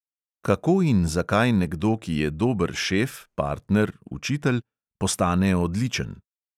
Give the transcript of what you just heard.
Kako in zakaj nekdo, ki je dober šef, partner, učitelj, postane odličen.